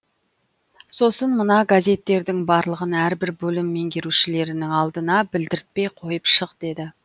сосын мына газеттердің барлығын әрбір бөлім меңгерушілерінің алдына білдіртпей қойып шық деді